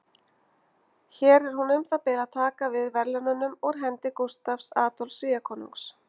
Hér er hún um það bil að taka við verðlaununum úr hendi Gústafs Adolfs Svíakonungs.